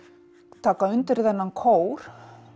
taka undir þennan kór